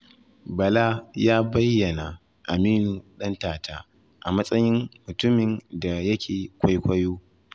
Bala ya bayyana Aminu Dantata a matsayin mutumin da yake kwaikwayo.